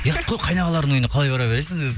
ұят қой қайнағалардың үйіне қалай бара бересің өзі